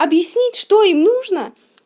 объяснить что им нужно